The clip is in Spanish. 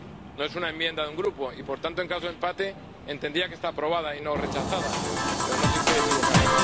no es una enmienda de un grupo y, por tanto, en caso de empate, entendía que está aprobada y no rechazada, pero no sé si estoy equivocado.